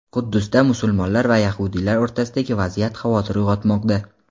Quddusda musulmonlar va yahudiylar o‘rtasidagi vaziyat xavotir uyg‘otmoqda.